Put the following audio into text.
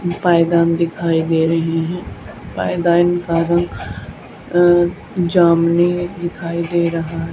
पायदान दिखाई दे रहे हैं पायदान का रंग अं जामुनी दिखाई दे रहा --